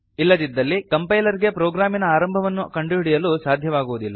ಇಲ್ಲದಿದ್ದಲ್ಲಿ ಕಂಪೈಲರ್ ಗೆ ಪ್ರೋಗ್ರಾಮಿನ ಆರಂಭವನ್ನು ಕಂಡುಹಿಡಿಯಲು ಸಾಧ್ಯವಾಗುವುದಿಲ್ಲ